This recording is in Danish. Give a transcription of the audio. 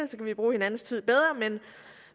så kan vi bruge hinandens tid bedre